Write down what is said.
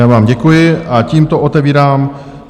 Já vám děkuji a tímto otevírám